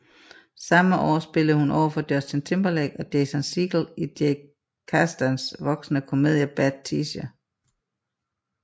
Samme år spillede hun overfor Justin Timberlake og Jason Segel i Jake Kasdans voksne komedie Bad Teacher